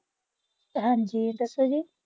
ਹਾਂਜੀ ਦੱਸੋ ਜੀ।